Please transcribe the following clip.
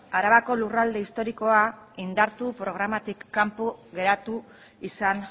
arabako lurralde historikoa indartu programatik kanpo geratu izan